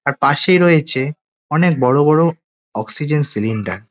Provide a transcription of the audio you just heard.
আর পাশেই রয়েছে অনেক বড় বড় অক্সিজেন সিলিন্ডার ।